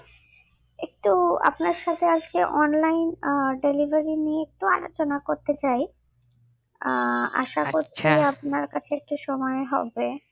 একটু আপনার সাথে আসলে online delivery নিয়ে একটু আলোচনা করতে চাই আহ আশা করছি আপনার কাছে একটু সময় হবে